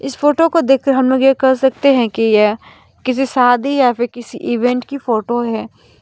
इस फोटो को देखकर हम लोग यह कर सकते हैं कि यह किसी शादी या फिर किसी इवेंट की फोटो है।